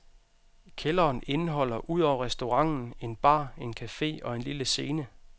Kælderen indeholder ud over restauranten en bar, en cafe og en lille scene.